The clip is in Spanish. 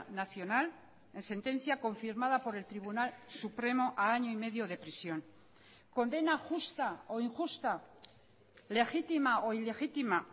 nacional en sentencia confirmada por el tribunal supremo a año y medio de prisión condena justa o injusta legítima o ilegítima